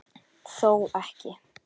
Þó ekki.?